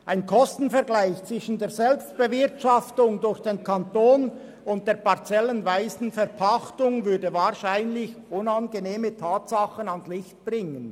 Ein Kostenvergleich zwischen der Selbstbewirtschaftung durch den Kanton und der parzellenweisen Verpachtung würde wahrscheinlich unangenehme Tatsachen ans Licht bringen.